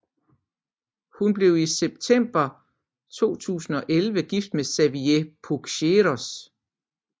Hun blev i september 2011 gift med Xavier Puicercos